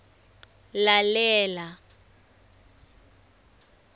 lalela